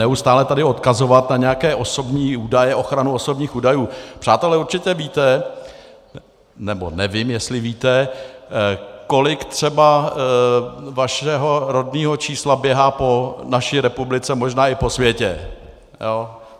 Neustále tady odkazovat na nějaké osobní údaje, ochranu osobních údajů - přátelé, určitě víte, nebo nevím, jestli víte, kolik třeba vašeho rodného čísla běhá po naší republice, možná i po světě.